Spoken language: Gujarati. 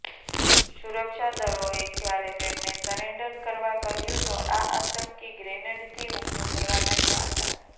સુરક્ષા દળોએ જ્યારે તેમને સરેન્ડર કરવા કહ્યું તો આ આતંકી ગ્રેનેડથી હુમલો કરવા લાગ્યા હતા